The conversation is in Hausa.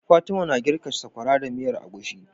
Fatima na girka sakwara da miyar agushi